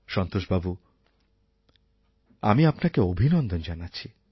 সন্তোষ বাবু আমি আপনাকে অভিনন্দন জানাচ্ছি